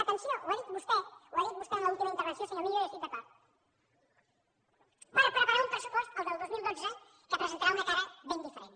atenció ho ha dit vostè ho ha dit vostè en l’última intervenció senyor millo i hi estic d’acord per preparar un pressupost el del dos mil dotze que presentarà una cara ben diferent